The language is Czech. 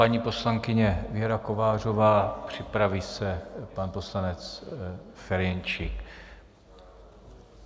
Paní poslankyně Věra Kovářová, připraví se pan poslanec Ferjenčík.